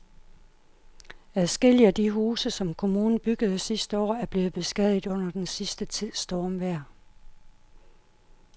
Adskillige af de huse, som kommunen byggede sidste år, er blevet beskadiget under den sidste tids stormvejr.